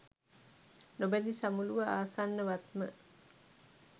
නොබැඳි සමුළුව ආසන්නවත්ම